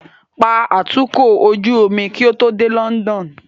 Pa atukọ̀ ojú omi kí o tó dé London